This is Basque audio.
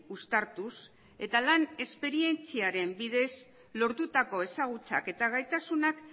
uztartuz eta lan esperientziaren bidez lortutako ezagutzak eta gaitasunak